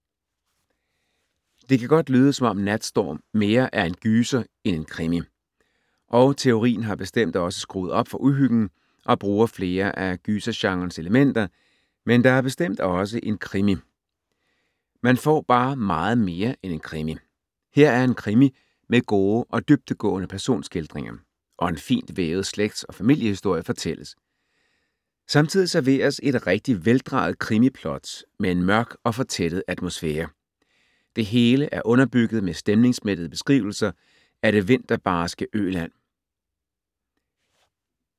Det kan godt lyde som om Natstorm mere er en gyser end en krimi, og Theorin har bestemt også skruet op for uhyggen og bruger flere af gysergenrens elementer, men der er bestemt også en krimi. Man får bare meget mere end en krimi. Her er en krimi med gode og dybdegående personskildringer, og en fint vævet slægts- og familiehistorie fortælles. Samtidig serveres et rigtig veldrejet krimiplot med en mørk og fortættet atmosfære. Det hele er underbygget med stemningsmættede beskrivelser af det vinterbarske Øland.